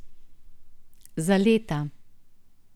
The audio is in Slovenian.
Za leta.